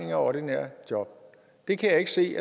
af ordinære job det kan jeg ikke se